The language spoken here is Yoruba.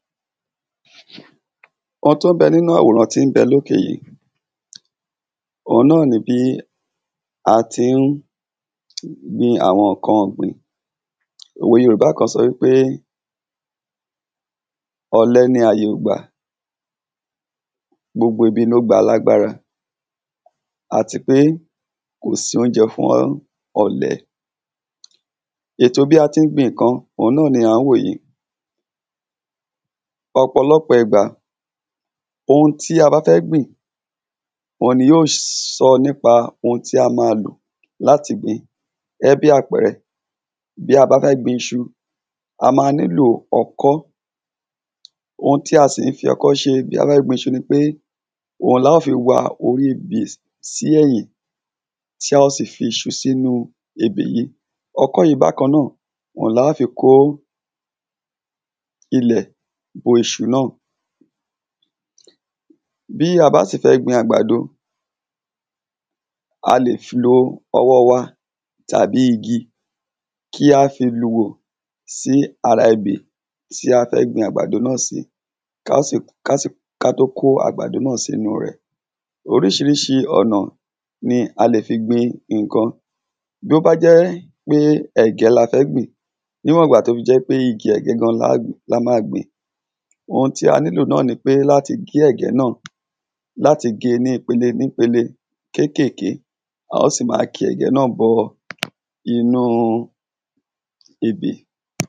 o tó ń bẹ́ nínú àwòrán tí ń bẹ lókè yìí òun náà ni bí a tí n gbin àwọn nǹkan ọ̀gbìn òwe yorùbá kan sọ í pé, ọ̀lẹ ni àyè ò gbà, gbogbo ibi ló gba alágbára àtipé, kò sóúnjẹ fún ọ̀lẹ ètò bí a tí gbin nǹkan, òun náa ni à ń wò yìí ọ̀pọ̀lọpọ̀ ìgbà, ohun tí a bá fẹ́ gbìn, òun ni yóòs sọ nípa ohun tí a máa lò láti gbìn gẹ́ẹ́ bí àpẹẹrẹ, bí a bá gbin iṣu, a má ń nílò ọkọ́ ohun tí a sì ń fi ọkọ́ ṣe bí a bá fẹ́ gbin iṣu ni pe, òun lá o fi wa orí ebè sí ẹ̀yìn, tí a ó sì fi iṣu sínú ebè yìí ọkọ́ yìí bákan náà, òun lá o fí kó, ilẹ̀, bo iṣu náà bí a bá sì fẹ́ gbin àgbàdo, a lèf lo ọwọ́ wa, tàbí igi kí a fi luhò sí ara ebè tí a fẹ́ gbin àgbàdo náà sí, ká tó kó àgbàdo náà sínú rẹ̀ oríṣiríṣi ọ̀nà ni a lè fi gbin nǹkan bí ó bá jẹ́ẹ́ pé ẹ̀gẹ́ la fẹ́ gbìn, níwọ̀n'gbà tó fi jẹ́ pe igi ẹ̀gẹ́ gan la ma gbìn ohun tí a nílò náà ni pé láti gé ẹ̀gẹ́ náà, láti gé e ní ipele nípele - kéékèké á ó sì máa ki ẹ̀gẹ́ náà bọ inúu ebè.